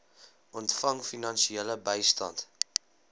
ontvang finansiële bystand